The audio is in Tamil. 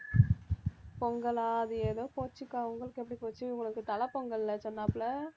பொங்கலா அது ஏதோ போச்சுக்கா உங்களுக்கு எப்படி போச்சு உங்களுக்கு தலைப்பொங்கல் இல்ல சொன்னாப்ல